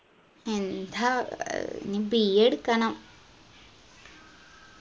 എന്താ ഇനി BA എടുക്കണം